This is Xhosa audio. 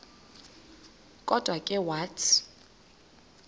kodwa ke wathi